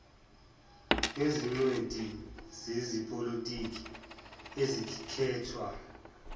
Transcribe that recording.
nezingcweti zezepolotiki ezikhethwa